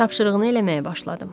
Tapşırığını eləməyə başladı.